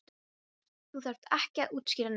Þú þarft ekki að útskýra neitt.